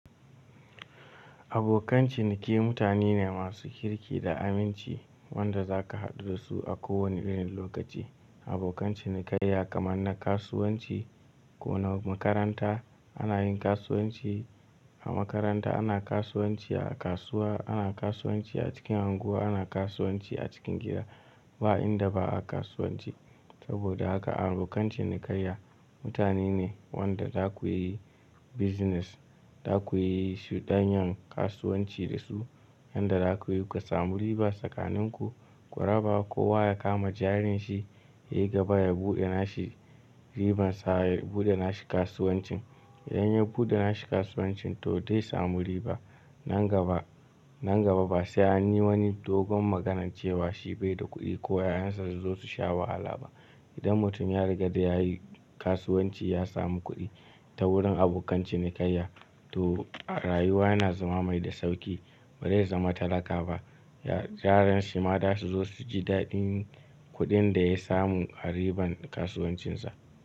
Abokan ciniki mutane ne masu kirki da aminci wanda zaka haɗu da su a kowane irin lokaci. Abokan cinikayya kaman na kasuwanci ko na makaranta ana yin kasuwanci a makaranta, ana kasuwanci a kasuwa, ana kasuwanci a cikin snguwa, ana kasuwanci a cikin gida. Ba inda ba a kasuwanci. Saboda haka abokan cinikayya mutane ne wanda daku yi business, daku yi shuɗanyan kasuwanci da su yanda da kuyi ku samu riba tsakanin ku, ku raba kowa ya kama jarinshi. Yayi gaba ya buɗe nashi ribansa ya buɗe nashi kasuwancin. Idan ya buɗe nashi kasuwancin to dai samu riba. Nan gaba, nan gaba ba sai an yi wani dogon maganan cewa shi bai da kuɗi ko 'ya'yansa su zo su sha wahala ba. Idan mutun ya rigada ya yi kasuwanci ya samu kuɗi ta wurin abokan cinikayya to rayuwa yana zama mai da sauƙi. Bare zama talaka ba. Ya-- jaranshi ma da su zo su ji daɗin kuɗin da ya samu a riban kasuwancinsa.